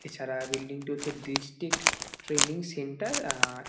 এছাড়া বিল্ডিং -টি হচ্ছে ডিস্ট্রিক্ট ট্রেনিং সেন্টার আ।